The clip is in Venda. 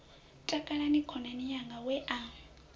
takalani khonani yanga we a